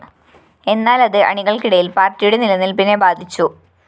എന്നാലത് അണികള്‍ക്കിടയില്‍ പാര്‍ട്ടിയുടെ നിലനില്‍പ്പിനെ ബാധിച്ചു